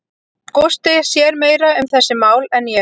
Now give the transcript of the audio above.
Gústi sér meira um þessi mál en ég.